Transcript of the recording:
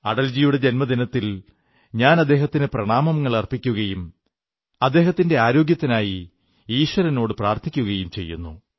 അടൽജിയുടെ ജന്മദിനത്തിൽ ഞാൻ അദ്ദേഹത്തിന് പ്രണാമങ്ങളർപ്പിക്കുകയും അദ്ദേഹത്തിന്റെ ആരോഗ്യത്തിനായി ഈശ്വരനോടു പ്രാർഥിക്കുകയും ചെയ്യുന്നു